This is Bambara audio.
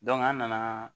an nana